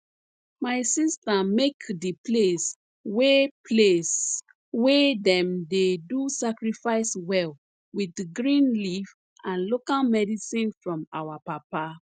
my sister make di place wey place wey dem dey do sacrifice well with green leaf and local medicine from our papa